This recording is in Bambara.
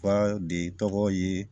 Wa de tɔgɔ ye